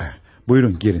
Buyurun, girin.